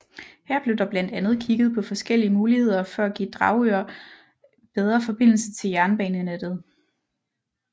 Her blev der blandt andet kigget på forskellige muligheder for at give Dragør bedre forbindelse til jernbanenettet